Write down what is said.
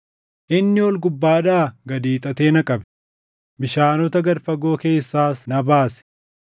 “Inni ol gubbaadhaa gad hiixatee na qabe; bishaanota gad fagoo keessaas na baase.